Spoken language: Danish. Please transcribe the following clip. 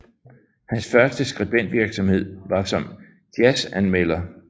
Hans første skribentvirksomhed var som jazzanmelder